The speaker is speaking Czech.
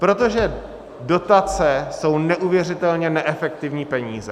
Protože dotace jsou neuvěřitelně neefektivní peníze.